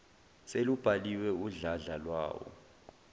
selubhaliwe udladla lwawo